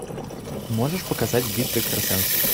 можешь показать битва экстрасенсов